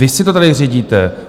Vy si to tady řídíte.